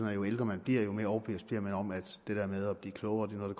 at jo ældre man bliver jo mere overbevist bliver man om at det der med at blive klogere er noget